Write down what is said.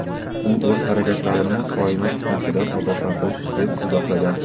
U o‘z harakatlarini "koinot fitnasi"dan ogohlantirish deb izohlagan.